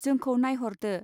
जोंखौ नाइहरदो.